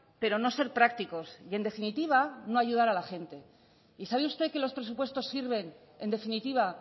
pero no ser prácticos y en definitiva no ayudar a la gente y sabe usted que los presupuestos sirven en definitiva